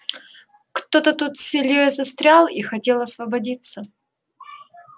кто-то тут с ильёй застрял и хотел освободиться